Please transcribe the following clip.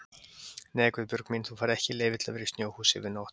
Nei Guðbjörg mín, þú færð ekki leyfi til að vera í snjóhúsi yfir nótt